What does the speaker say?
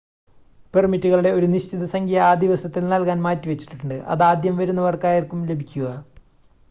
പെർമിറ്റുകളുടെ ഒരു നിശ്ചിത സംഖ്യ ആ ദിവസത്തിൽ നൽകാൻ മാറ്റിവെച്ചിട്ടുണ്ട് അതാദ്യം വരുന്നവർക്കായിരിക്കും ലഭിക്കുക